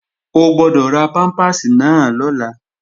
O gbọ́dọ̀ ra pámpàsì náà lọ́la!